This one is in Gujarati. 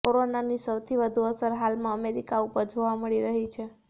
કોરોનાની સૌથી વધુ અસર હાલમાં અમેરિકા ઉપર જોવા મળી રહી છે